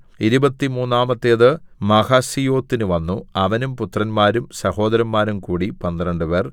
ഇരുപത്തിമൂന്നാമത്തേത് മഹസീയോത്തിന് വന്നു അവനും പുത്രന്മാരും സഹോദരന്മാരും കൂടി പന്ത്രണ്ടുപേർ